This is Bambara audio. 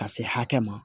Ka se hakɛ ma